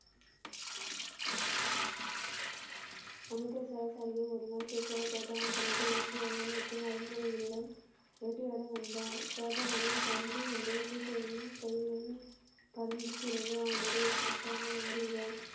அமிர்தசரஸ் தனத மற்றும் அரண்மனையில் உள்ள வேட்டையாட வந்தார் ஷாஜகானின் பருந்து ஒன்று சிசியரின் கையில் பரந்த பிறகு அவனுடைய சொத்தாக மாறிய.